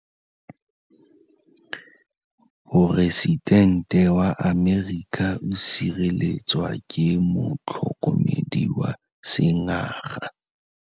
Poresitêntê wa Amerika o sireletswa ke motlhokomedi wa sengaga.